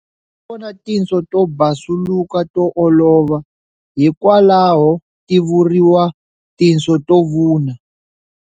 U nga vona tinso to basuluka to olova, hikwalaho ti vuriwa tinso to vuna.